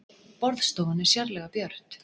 Borðstofan er sérlega björt